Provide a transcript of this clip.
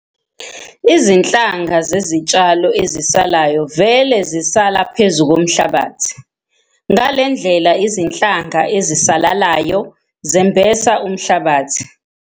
Izinhlanga zezitshalo ezisalayo vele zisala phezu komhlabathi. Ngale ndlela izinhlanga ezisalalayo zembesa umhlabathi.